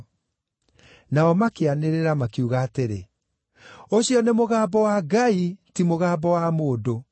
Nao makĩanĩrĩra makiuga atĩrĩ, “Ũcio nĩ mũgambo wa ngai, ti mũgambo wa mũndũ.”